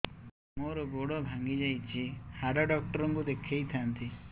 ମୋର ଗୋଡ ଭାଙ୍ଗି ଯାଇଛି ହାଡ ଡକ୍ଟର ଙ୍କୁ ଦେଖେଇ ଥାନ୍ତି